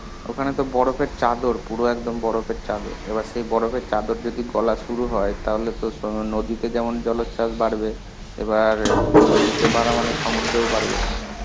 ওখানে তো বরফের চাদর. পুরো একদম বরফের চাদর. এবার সেই বরফের চাদর যদি গলা শুরু হয়, তাহলেতো নদী তে যেমন জলচ্ছাস বাড়বে, এবার নদীতে বাড়া মানে সমদ্রেও বাড়বে.